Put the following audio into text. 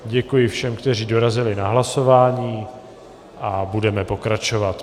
Děkuji všem, kteří dorazili na hlasování, a budeme pokračovat.